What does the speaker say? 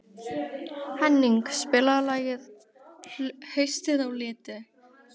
Henning, spilaðu lagið „Haustið á liti“.